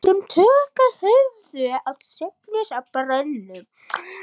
Þeir sem tök höfðu á söfnuðust að brunnunum.